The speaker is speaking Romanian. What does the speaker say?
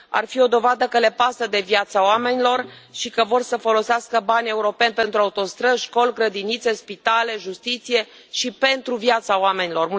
Ar fi o dovadă că le pasă de viața oamenilor și că vor să folosească bani europeni pentru autostrăzi, școli, grădinițe, spitale, justiție și pentru viața oamenilor.